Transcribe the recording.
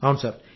అవును సార్